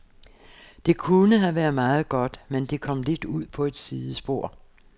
Det kunne have været meget godt, men det kom lidt ud på et sidespor.